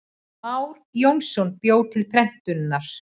Már Jónsson bjó til prentunar.